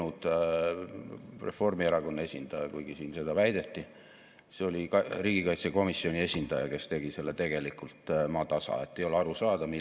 Ärevus ja ebakindlus ka tänast päeva: tervishoiukriis, energiakriis ja Venemaa agressioon Ukraina vastu ning muutuvad geopoliitilised jõujooned raamistavad "Eesti 2035" strateegia elluviimist ning on kiirendanud vajadust liikuda jõudsalt edasi.